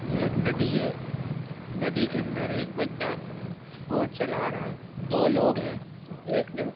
ये एक नदी है | नदी के अंदर एक बंदा बोट चला रहा है दो लोग हैं। एक ने --